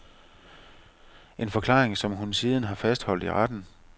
En forklaring, som hun siden har fastholdt i retten.